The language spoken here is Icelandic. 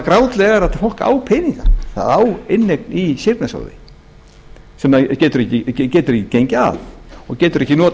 grátlega er að fólk á peninga það á inneign í séreignasjóði sem getur ekki gengið af og getur ekki notað